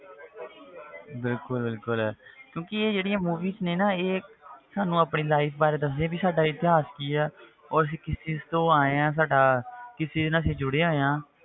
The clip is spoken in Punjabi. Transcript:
ਬਿਲਕੁਲ ਬਿਲੁਕੁਲ ਕਿਉਂਕਿ ਜਿਹੜੀਆਂ movies ਨੇ ਨਾ ਇਹ ਸਾਨੂੰ ਆਪਣੀ life ਬਾਰੇ ਦੱਸਦੀਆਂ ਵੀ ਸਾਡਾ ਇਤਿਹਾਸ ਕੀ ਆ ਔਰ ਅਸੀਂ ਕਿਸ ਚੀਜ਼ ਤੋਂ ਆਏ ਹਾਂ ਸਾਡਾ ਕਿਸ ਚੀਜ਼ ਨਾਲ ਅਸੀਂ ਜੁੜੇ ਹੋਏ ਹਾਂ,